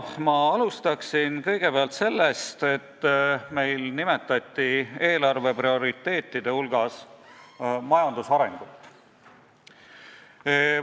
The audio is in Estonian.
Ma alustan sellest, et eelarve prioriteetide hulgas nimetati majanduse arengut.